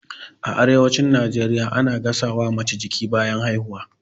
A arewacin najeriya ana gasa wa mace jiki bayan haihuwa